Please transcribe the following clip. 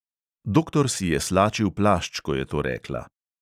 Doktor si je slačil plašč, ko je to rekla.